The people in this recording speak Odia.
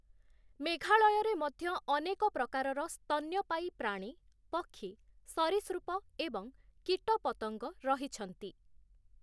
ମେଘାଳୟରେ ମଧ୍ୟ ଅନେକ ପ୍ରକାରର ସ୍ତନ୍ୟପାୟୀ ପ୍ରାଣୀ, ପକ୍ଷୀ, ସରୀସୃପ ଏବଂ କୀଟପତଙ୍ଗ ରହିଛନ୍ତି ।